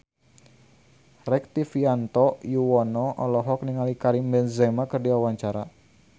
Rektivianto Yoewono olohok ningali Karim Benzema keur diwawancara